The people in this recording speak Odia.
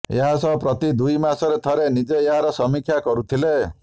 ଏହାସହ ପ୍ରତିଦୁଇ ମାସରେ ଥରେ ନିଜେ ଏହାର ସମୀକ୍ଷା କରୁଥିଲେ